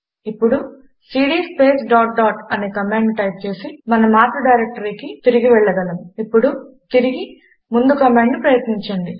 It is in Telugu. ఇప్పుడు సీడీ స్పేస్ డాట్ డాట్ అనే కమాండును టైప్ చేసి మన మాతృ డైరెక్టరీకి తిరిగి వెళ్ళగలము ఇప్పుడు తిరిగి ముందు కమాండును ప్రయత్నించండి